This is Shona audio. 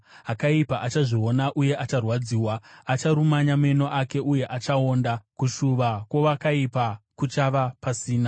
Akaipa achazviona uye acharwadziwa, acharumanya meno ake uye achaonda; kushuva kwowakaipa kuchava pasina.